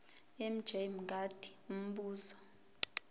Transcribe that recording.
mj mngadi umbuzo